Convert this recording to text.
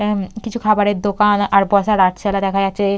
হুম কিছু খাবারের দোকান আর বসার রাতসালা দেখা যাচ্ছে।